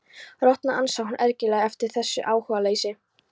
Rotna, ansar hún ergileg yfir þessu áhugaleysi.